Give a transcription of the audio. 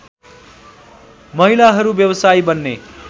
महिलाहरू व्यवसायी बन्ने